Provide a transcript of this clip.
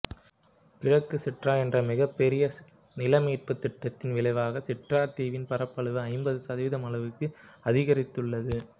கிழக்கு சிட்ரா என்ற மிகப்பெரிய நில மீட்புத் திட்டத்தின் விளைவாக சிட்ரா தீவின் பரப்பளவு ஐம்பது சதவீதம் அளவுக்கு அதிகரித்துள்ளது